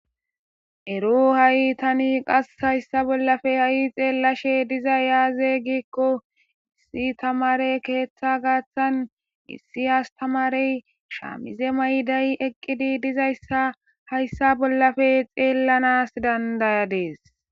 ero ha7i tani qas hayssa bollafe ha7i xeellashe diza yaaze gikko issi tamare keeththa gaaththan issi astamarey shaamize mayday eqqidi dizayssa hayssa bollafe xeellanas dandayadees